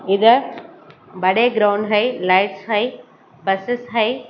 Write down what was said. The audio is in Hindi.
इधर बड़े ग्राउंड है लाइट्स है बसेस है।